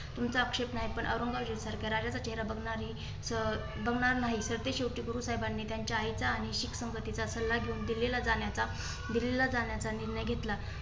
तुमचा आक्षेप नाही. पण औरंगजेबा सारख्या राजाचा चेहरा बघणारी च अं बघणार नाही. तर ते शेवटी गुरुसाहेब आणि त्यांच्या आईचा आणि शीख संगतीचा सल्ला घेऊन दिल्लीला जाण्याचा दिल्लीला जाण्याचा निर्णय घेतला.